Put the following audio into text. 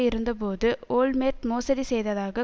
இருந்தபோது ஓல்மேர்ட் மோசடி செய்ததாக